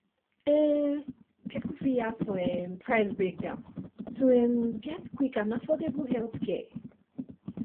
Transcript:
um people fit ask for um price breakdown to um get quick and affordable healthcare